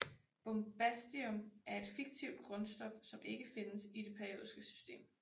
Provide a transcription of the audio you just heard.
Bombastium er et fiktivt grundstof som ikke findes i det periodiske system